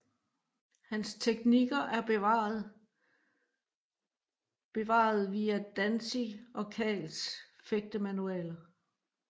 Hans teknikker er bevaret bevaret via Danzig og Kals fægtemanualer